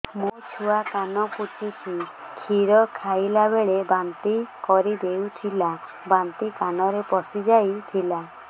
ମୋ ଛୁଆ କାନ ପଚୁଛି କ୍ଷୀର ଖାଇଲାବେଳେ ବାନ୍ତି କରି ଦେଇଥିଲା ବାନ୍ତି କାନରେ ପଶିଯାଇ ଥିଲା